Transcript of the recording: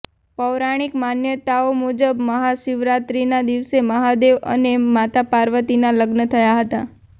પૌરાણિક માન્યતાઓ મુજબ મહાશિવરાત્રિના દિવસે માહદેવ અને માતા પાર્વતીના લગ્ન થયા હતા